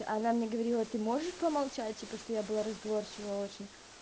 а она мне говорила ты можешь помолчать типа что я была разговорчивая очень